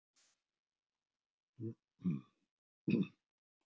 Þar var nóg að gera en úrvalið var fremur stílað á eldri konur en mig.